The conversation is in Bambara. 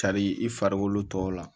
Cari i farikolo tɔw la